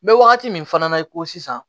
N bɛ wagati min fana na i ko sisan